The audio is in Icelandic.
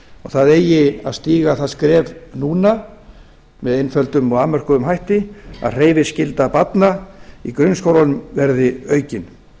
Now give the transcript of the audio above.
það eigi að stíga það skref núna með einföldum og afmörkuðum hætti að hreyfiskylda barna í grunnskólanum verði aukin